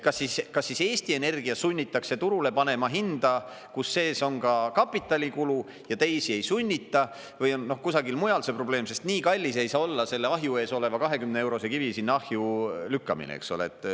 Kas siis Eesti Energia sunnitakse turule panema hinda, kus sees on ka kapitalikulu, ja teisi ei sunnita või on kusagil mujal see probleem, sest nii kallis ei saa olla selle ahju ees oleva 20-eurose kivi ahjulükkamine?